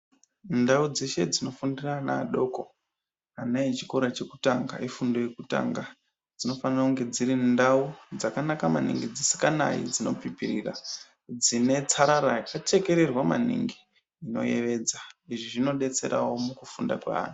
Ndau dzeshe dziñofundire ana adoko ana echikora çhékutañga ifúndo yekutanga dzinofanira kunge dziri ndau dzakanaka maningi dzisikanayi dzinopipirira dzine tsarara yakachekererwa maningi inoyevedza izvi zvinodetserawo mukufunda kwaanhu.